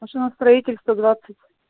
машиностроителей сто двадцать